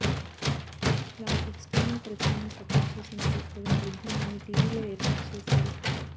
లాంటి ఎక్స్టర్నల్ పరికరాల్ని సపోర్టు చేసేందుకు తగిన పరిజ్ఞానాన్ని టీవీల్లో ఏర్పాటు చేశారు